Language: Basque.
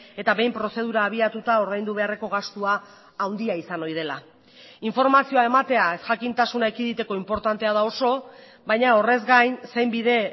eta behin prozedura abiatuta ordaindu beharreko gastua handia izan ohi dela informazioa ematea ezjakintasuna ekiditeko inportantea da oso baina horrez gain zein bide